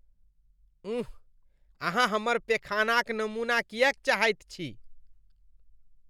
उंह, अहाँ हमर पेखानाक नमूना किएक चाहैत छी?